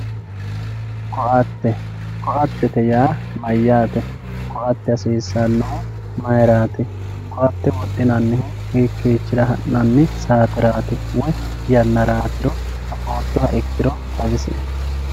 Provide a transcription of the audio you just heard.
Koate yaa mayate, koate ayeera hasisanno, koate wodhinanihu hiikichira hanannibsaaterati woyiyanaratiro affootoha ikkiro xawisie